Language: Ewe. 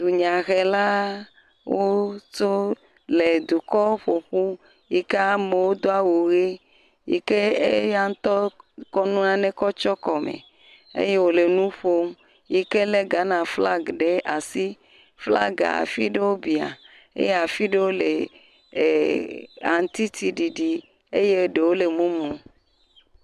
Dunyahelawo tso le dukɔ ƒo ƒu yi ke amewo do awu ʋi yi ke eya ŋutɔ kɔ nane kɔ tsɔ kɔme eye wole nu ƒom yi ke le Ghanaflaga ɖe asi. Flagae afi ɖewo biã eye afi aɖewo le eer aŋutiti ɖiɖi ye ɖewo le mumu.